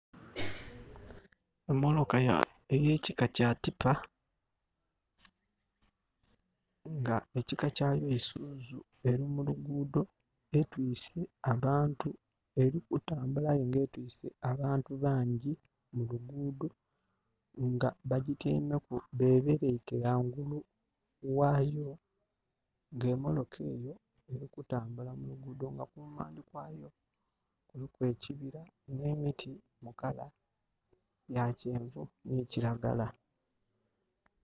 Emotoka ey'ekika kya tipa. Nga ekika kyayo Isuzu eli mu luguudho etwiise abantu, eli kutambula aye ng'etwiise abantu bangyi mu luguudho. Nga bagityaimeku bebeleike ghangulu ghayo. Nga emotoka eyo eli kutambula mu luguudho nga kumaandhi kwayo kuliku ekibira nh'emiti mu colour ya kyenvu nhi kiragala.